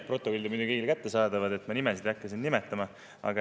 Protokoll on muidugi kõigile kättesaadav, ma nimesid ei hakka siin nimetama.